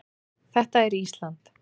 Þetta er Ísland.